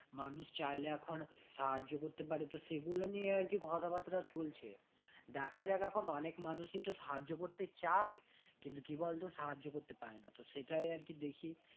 মানুষ চাইলে এখন সাহায্য করতে পারে তো সেগুলো নিয়ে আর কি কথাবার্তা চলছে দেখা যাক এখন অনেক মানুষই তো সাহায্য করতে চায় কিন্তু কি বলতো সাহায্য করতে পারে না তো সেটাই আর কি দেখি